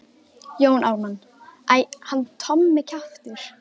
Jón Ármann: Æ, hann Tommi kjaftur.